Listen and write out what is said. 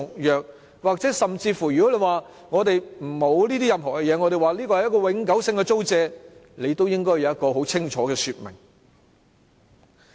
如果說我們沒有任何這些方面的安排，因為這是永久性的租借，那麼，也應該有一個很清楚的說明。